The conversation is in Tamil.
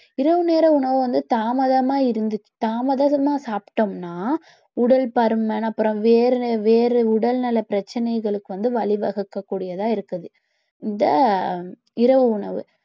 இரவு நேர உணவு வந்து தாமதமா இருந்துச்சு, தாமதமா சாப்பிட்டோம்னா உடல் பருமன் அப்புறம் வேறு வேறு உடல்நல பிரச்சனைகளுக்கு வந்து வழி வகுக்கக்கூடியதா இருக்குது இந்த இரவு உணவு